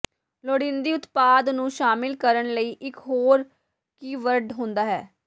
ਲੋੜੀਦੀ ਉਤਪਾਦ ਨੂੰ ਸ਼ਾਮਿਲ ਕਰਨ ਲਈ ਇੱਕ ਹੋਰ ਕੀਵਰਡ ਹੁੰਦਾ ਹੈ